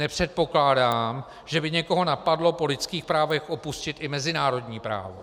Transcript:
Nepředpokládám, že by někoho napadlo po lidských právech opustit i mezinárodní právo.